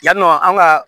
Yannɔ an ka